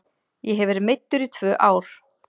Ég hef verið meiddur í tvö ár.